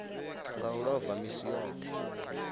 nga u ḽova misi yoṱhe